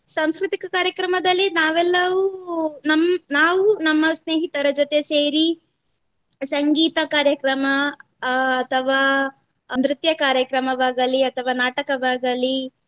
ಸಾಂಸ್ಕೃತಿಕ ಕಾರ್ಯಕ್ರಮದಲ್ಲಿ ನಾವೆಲ್ಲವು ನಮ್~ ನಾವು ನಮ್ಮ ಸ್ನೇಹಿತರ ಜೊತೆ ಸೇರಿ ಸಂಗೀತ ಕಾರ್ಯಕ್ರಮ ಅಹ್ ಅಥವಾ ನೃತ್ಯ ಕಾರ್ಯಕ್ರಮವಾಗಲಿ ಅಥವಾ ನಾಟಕವಾಗಲಿ